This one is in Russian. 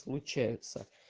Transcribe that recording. случается